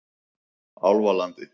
Álfalandi